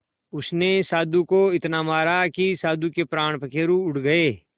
उसने साधु को इतना मारा कि साधु के प्राण पखेरु उड़ गए